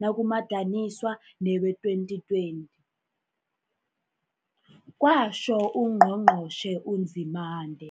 nakumadaniswa newee-2020, kwatjho uNgqo ngqotjhe uNzimande.